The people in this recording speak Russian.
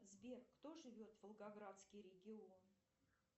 сбер кто живет волгоградский регион